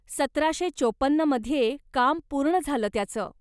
सतराशे चौपन्न मध्ये काम पूर्ण झालं त्याचं.